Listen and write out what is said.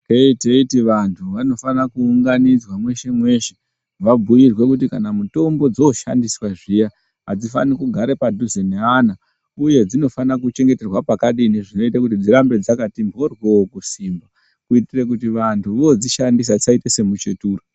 Teteiti vantu vanofana kuunganidzwa meshe-meshe, vabhuirwe kuti kana mutombo dzoshandiswa zviya hadzifani kugara padhuze neana, uye dzinofanira kuchengeterwa pakadini zvinoita kuti dzirambe dzakati mhoryoo. Kuitire kuti vantu vodzishandisa dzisaite semuchetura.